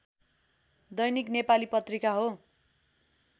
दैनिक नेपाली पत्रिका हो